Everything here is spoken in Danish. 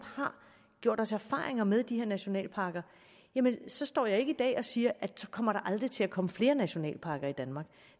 har gjort os erfaringer med de her nationalparker så står jeg ikke i dag og siger at så kommer der aldrig til at komme flere nationalparker i danmark